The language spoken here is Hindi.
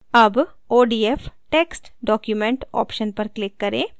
अब odf text document option पर click करें